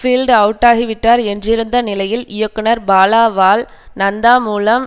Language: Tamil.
பீல்டு அவுட்டாகிவிட்டார் என்றிருந்த நிலையில் இயக்குனர் பாலாவால் நந்தா மூலம்